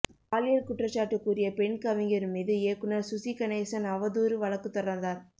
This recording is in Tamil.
பாலியல் குற்றச்சாட்டு கூறிய பெண் கவிஞர் மீது இயக்குனர் சுசிகணேசன் அவதூறு வழக்கு தொடர்ந்தார்